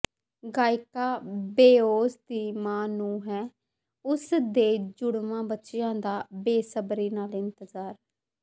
ਗਾਇਕਾ ਬੇਓਂਸ ਦੀ ਮਾਂ ਨੂੰ ਹੈ ਉਸ ਦੇ ਜੁੜਵਾਂ ਬੱਚਿਆਂ ਦਾ ਬੇਸਬਰੀ ਨਾਲ ਇੰਤਜ਼ਾਰ